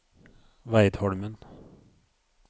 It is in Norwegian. Veidholmen